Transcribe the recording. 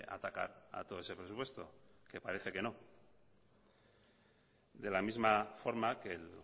atacar a todo ese presupuesto que parece que no de la misma forma que el